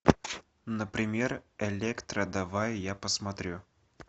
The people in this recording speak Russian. например электро давай я посмотрю